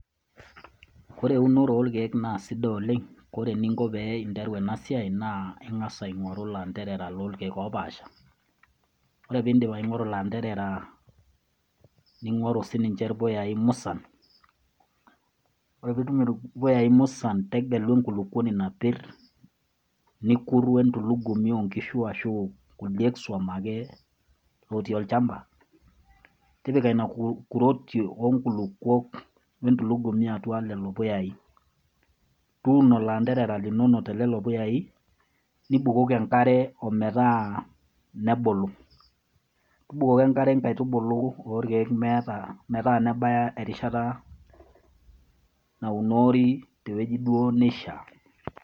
Kore eunore orkeek naa sidai oleng', kore eninko pee interu ena siai naa ing'asa aing'oru lanterera lorkeek opaasha, ore piindip aing'oru lanterera ning'oru siinje irpuyai musan ore piitum irpuyai musan, tegelu enkulukoni napir, nikuru entulugumi o nkishu ashu kulie swam ake otii olchamba tipika nena kuroki onkulokuk we ntulugumi atua nena puyai. Tuuno loanterera linonok te lelo puyai, nibukoki enkare o metaa nebulu, tubukoki enkare nkaitubulu orkeek meeta metaa nebaki erishata naunori te wueji duo nishaa.